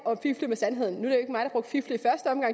sandheden nu